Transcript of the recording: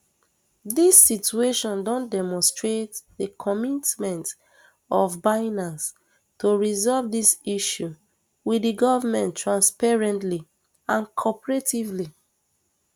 dis situation don demonstrate di commitment of binance to resolve dis issue wit di goment transparently and cooperatively